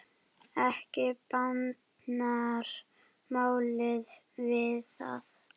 Ekki batnar málið við það.